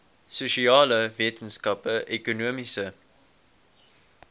sosiale wetenskappe ekonomiese